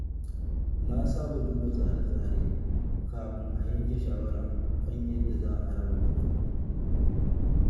Na saba duba tsare-tsare kafin a yanke shawara kan yadda za a raba kuɗin.